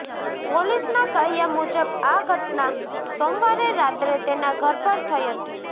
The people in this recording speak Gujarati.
પોલીસના કહ્યા મુજબ આ ઘટના સોમવારે રાત્રે તેના ઘર પર થઇ હતી